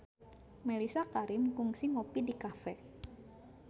Mellisa Karim kungsi ngopi di cafe